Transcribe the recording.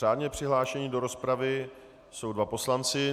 Řádně přihlášeni do rozpravy jsou dva poslanci.